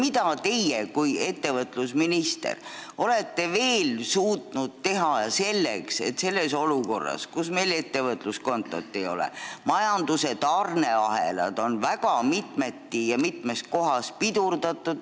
Mida teie kui ettevõtlusminister olete veel suutnud teha praeguses olukorras, kus meil ei ole ettevõtluskontot ning majanduse tarneahelaid on väga mitmeti ja mitmes kohas pidurdatud?